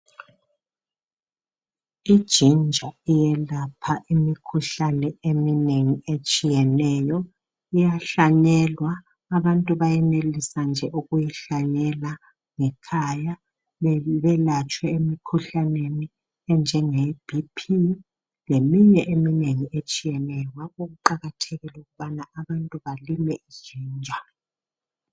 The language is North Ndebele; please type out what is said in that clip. Ijinja iyelapha imikhuhlane eminengi etshiyeneyo iyahlanyelwa abantu bayenelisa nje ukuyihlanyela ngekhaya belatshwe emikhuhlaneni enjenge B.P leminye eminengi etshiyeneyo ngakho kuqakathekile ukubana abantu balime ijinja.